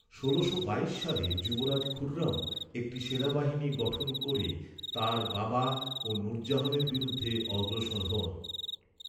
ষোলোশো বাইশ সালে যুবরাজ খুররম একটি সেনাবাহিনী গঠন ক’রে তাঁঁর বাবা ও নুরজাহানের বিরুদ্ধে অগ্রসর হন।